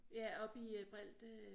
Ja oppe i Breelte